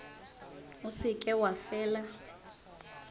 o se ke wa fela